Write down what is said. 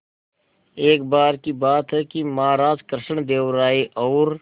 एक बार की बात है कि महाराज कृष्णदेव राय और